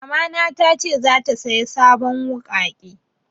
Mama na ta ce zata saya sabon wuƙaƙe